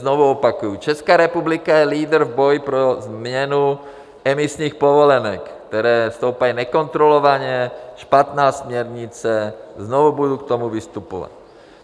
Znovu opakuji: Česká republika je lídr v boji pro změnu emisních povolenek, které stoupají nekontrolovaně - špatná směrnice, znovu budu k tomu vystupovat.